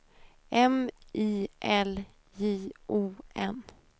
M I L J O N